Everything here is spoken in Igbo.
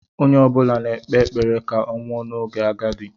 Onye ọ bụla na-ekpe ekpere ka ọ nwụọ n'oge agadi.